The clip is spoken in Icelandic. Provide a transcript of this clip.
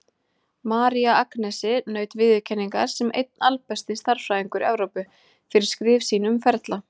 María Agnesi naut viðurkenningar sem einn albesti stærðfræðingur Evrópu, fyrir skrif sín um ferla.